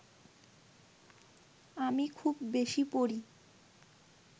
আমি খুব বেশি পড়ি